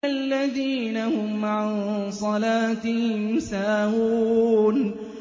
الَّذِينَ هُمْ عَن صَلَاتِهِمْ سَاهُونَ